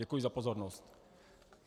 Děkuji za pozornost.